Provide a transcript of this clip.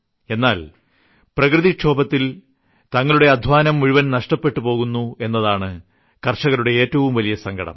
എന്നാൽ പ്രകൃതിക്ഷോഭത്തിൽ തങ്ങളുടെ അദ്ധ്വാനം മുഴുവൻ നഷ്ടപ്പെട്ടു പോകുന്നതാണ് കർഷകരുടെ ഏറ്റവും വലിയ സങ്കടം